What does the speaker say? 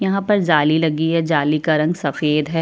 यहाँ पर जाली लगी है जाली का रंग सफेद हैं।